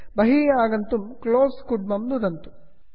बहिः आगन्तुं close close इत्यत्र नुदन्तु